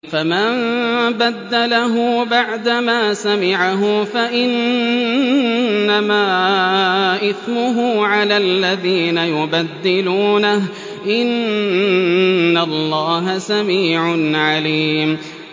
فَمَن بَدَّلَهُ بَعْدَمَا سَمِعَهُ فَإِنَّمَا إِثْمُهُ عَلَى الَّذِينَ يُبَدِّلُونَهُ ۚ إِنَّ اللَّهَ سَمِيعٌ عَلِيمٌ